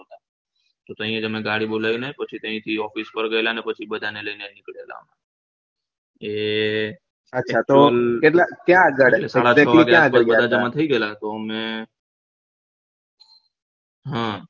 તો પછી અમે અહિયાં ગાડી બોલાવીને પછી અમે અહીંથી office પર ગયેલા પછી બધાને લઈને ની કળેલા એ હમ